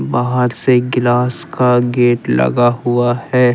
बाहर से गिलास का गेट लगा हुआ है।